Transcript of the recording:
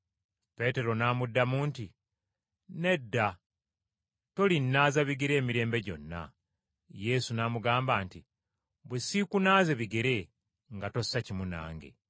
Peetero n’amuddamu nti, “Nedda, tolinnaaza bigere emirembe gyonna.” Yesu n’amugamba nti, “Bwe siikunaaze bigere, nga tossa kimu nange.”